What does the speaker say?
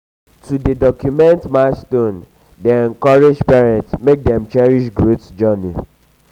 to dey document milestones dey encourage parents make dem cherish growth journey.